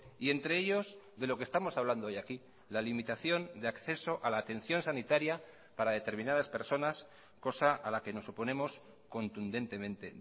y entre ellos de lo que estamos hablando hoy aquí la limitación de acceso a la atención sanitaria para determinadas personas cosa a la que nos oponemos contundentemente